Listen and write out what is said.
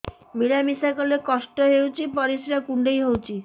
ମିଳା ମିଶା କଲେ କଷ୍ଟ ହେଉଚି ପରିସ୍ରା କୁଣ୍ଡେଇ ହଉଚି